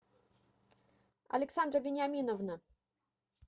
александра вениаминовна